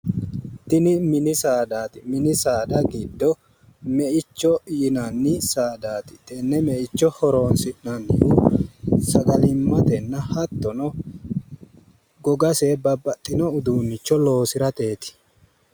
Tini mini saadaati mini saada giddo meicho saadaati. tenne meicho horoonsi'nannihu sagalimmatenna hattono gogase babbaxxinno uduunnicho loosirateeti.